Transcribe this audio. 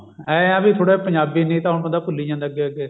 ਐਂ ਆ ਵੀ ਥੋੜਾ ਪੰਜਾਬੀ ਨਹੀਂ ਤਾਂ ਹੁਣ ਬੰਦਾ ਭੁੱਲੀ ਜਾਂਦਾ ਅੱਗੇ ਅੱਗੇ